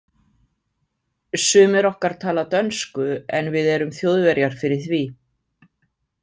Sumir okkar tala dönsku, en við erum Þjóðverjar fyrir því.